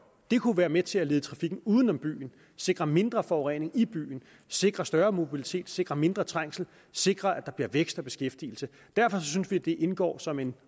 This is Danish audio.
det kunne være med til at lede trafikken uden om byen sikre mindre forurening i byen sikre større mobilitet sikre mindre trængsel og sikre at der bliver vækst og beskæftigelse derfor synes vi at det indgår som et